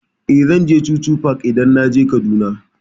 Eh, zan je chuchu park idan naje Kaduna.